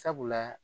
Sabula